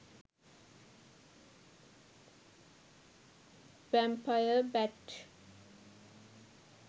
vampire bat